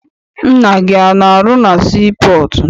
Nna gị ana arụ na sii pọọtụ?